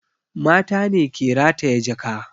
Mata ne ke rataya jaka